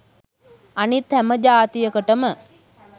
අනිත් හැම ජාතියකටම